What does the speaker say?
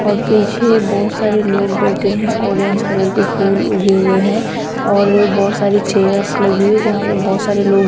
और पीछे बहोत सारे लोग बैठे हैं ऑरेंज कलर के फूल उगे हुए हैं और बहोत सारी चेयर्स लगी हुई है जहां पे बहोत सारे लोग--